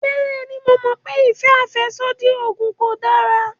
Bẹ́ẹ̀ni, mo mọ̀ pé ìfẹ́ àfẹ́sódì oògùn kò dára